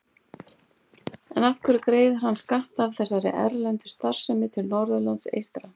En af hverju greiðir hann skatta af þessari erlendu starfsemi til Norðurlands eystra?